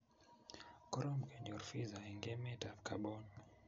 Korom kenyor visa eng emetab Gabon